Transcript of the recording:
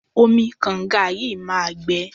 Omi kànga yìí máa gbẹ.